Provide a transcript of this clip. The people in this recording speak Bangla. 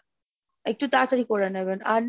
একটু তাড়াতাড়ি করে নেবেন, আর